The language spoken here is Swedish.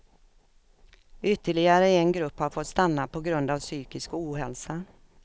Ytterligare en grupp har fått stanna på grund av psykisk ohälsa.